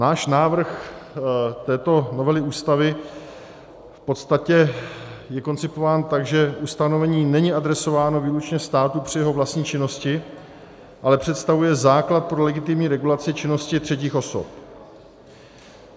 Náš návrh této novely Ústavy v podstatě je koncipován tak, že ustanovení není adresováno výlučně státu při jeho vlastní činnosti, ale představuje základ pro legitimní regulaci činnosti třetích osob.